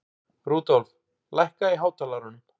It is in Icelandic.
Rudolf, lækkaðu í hátalaranum.